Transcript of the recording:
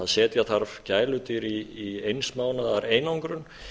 setja þarf gæludýr í eins mánaðar einangrun